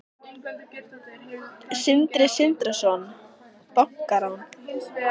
Sindri Sindrason: Bankarán?